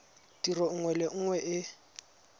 tiro nngwe le nngwe e